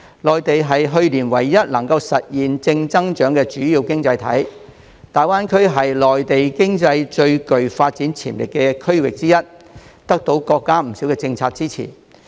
內地是去年唯一實現正增長的主要經濟體，而大灣區是內地經濟最具發展潛力的區域之一，得到國家不少政策的支持。